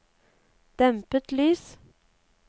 dempet lys